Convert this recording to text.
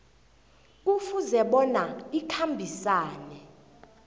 kufuze bona ikhambisane